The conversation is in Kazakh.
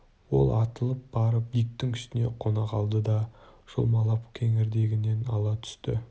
ол атылып барып диктің үстіне қона қалды да жұлмалап кеңірдегінен ала түсті